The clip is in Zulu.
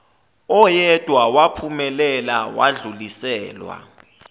oyedwa waphumelela wadluliselwa